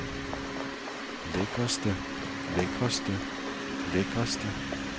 lækreste lækreste lækreste